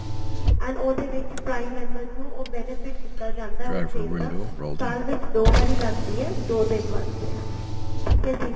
and ਉਹਦੇ ਵਿੱਚ prime members ਨੂੰ ਉਹ benefit ਦਿੱਤਾ ਜਾਂਦਾ ਉਸ sale ਦਾ ਸਾਲ ਵਿੱਚ ਦੋ ਵਾਰੀ ਲੱਗਦੀ ਏ ਦੋ ਦਿਨ ਵਾਸਤੇ ਠੀਕ ਏ ਜੀ